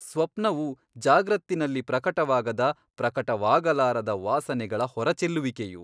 ಸ್ವಪ್ನವು ಜಾಗ್ರತ್ತಿನಲ್ಲಿ ಪ್ರಕಟವಾಗದ ಪ್ರಕಟವಾಗಲಾರದ ವಾಸನೆಗಳ ಹೊರಚೆಲ್ಲುವಿಕೆಯು.